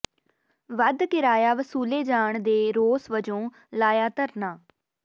ਵੱਧ ਕਿਰਾਇਆ ਵਸੂਲੇ ਜਾਣ ਦੇ ਰੋਸ ਵਜੋਂ ਲਾਇਆ ਧਰਨਾ